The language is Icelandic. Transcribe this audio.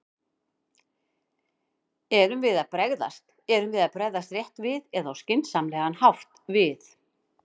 Erum við að bregðast, erum við að bregðast rétt við eða á skynsamlegan hátt við?